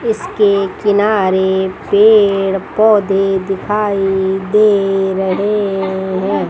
इसके किनारे पेड़ पौधे दिखाई दे रहे हैं।